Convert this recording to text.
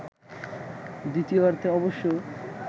দ্বিতীয়ার্ধে অবশ্য